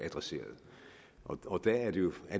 adresseret og der er det jo